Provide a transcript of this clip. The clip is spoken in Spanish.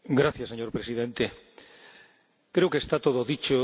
Señor Presidente, creo que está todo dicho